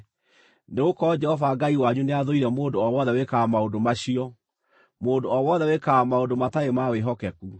Nĩgũkorwo Jehova Ngai wanyu nĩathũire mũndũ o wothe wĩkaga maũndũ macio, mũndũ o wothe wĩkaga maũndũ matarĩ ma wĩhokeku.